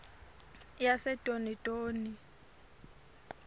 yasedonidoni